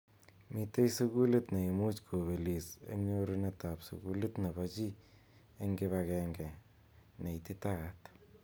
Mitei sukulit neimuch kobelis eng nyorunet ab sukulit nebo chi eng kipagenge neititaat.